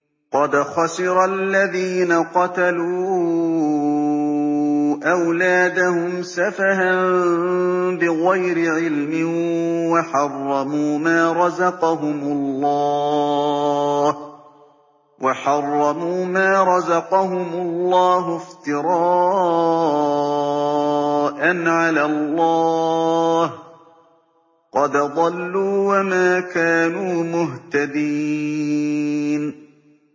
قَدْ خَسِرَ الَّذِينَ قَتَلُوا أَوْلَادَهُمْ سَفَهًا بِغَيْرِ عِلْمٍ وَحَرَّمُوا مَا رَزَقَهُمُ اللَّهُ افْتِرَاءً عَلَى اللَّهِ ۚ قَدْ ضَلُّوا وَمَا كَانُوا مُهْتَدِينَ